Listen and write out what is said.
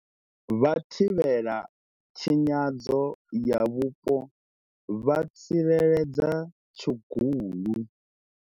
Vhathivhelatshinyadzo ya mupo vha tsireledza tshugulu.